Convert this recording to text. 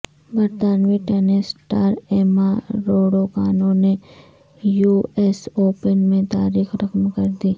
برطانوی tennis star Emma Raducanu نے U S open میں تاریخ رقم کر دی